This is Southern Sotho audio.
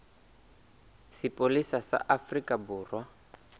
sa sepolesa sa afrika borwa